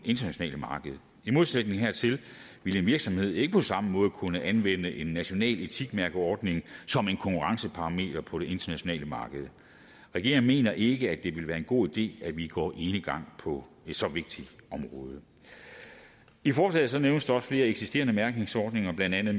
internationale marked i modsætning hertil ville en virksomhed ikke på samme måde kunne anvende en national etikmærkeordning som en konkurrenceparameter på det internationale marked regeringen mener ikke det vil være en god idé at vi går enegang på et så vigtigt område i forslaget nævnes der også flere eksisterende mærkningsordninger blandt andet